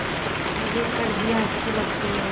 मुझे सर्दियाँ अच्छी लगती हैं